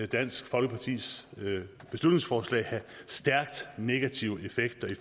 dansk folkepartis beslutningsforslag have stærkt negative effekter